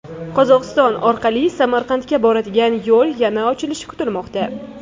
Qozog‘iston orqali Samarqandga boradigan yo‘l yana ochilishi kutilmoqda.